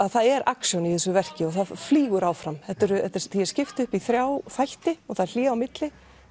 það er action í þessu verki og það flýgur áfram því er skipt upp í þrjá þætti og það er hlé á milli